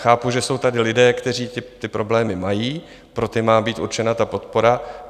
Chápu, že jsou tady lidé, kteří ty problémy mají, pro ty má být určena ta podpora.